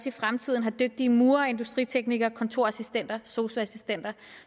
i fremtiden har dygtige murere industriteknikere kontorassistenter sosu assistenter